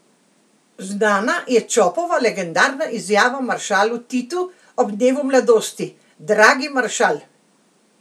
Znana je Čopova legendarna izjava maršalu Titu ob dnevu mladosti: "Dragi maršal!